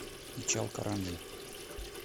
ичалкаранджи